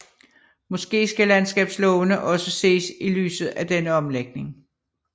Måske skal landskabslovene også ses i lyset af denne omlægning